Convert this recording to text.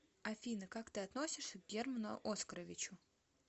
афина как ты относишься к герману оскаровичу